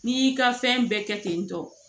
N'i y'i ka fɛn bɛɛ kɛ ten tɔ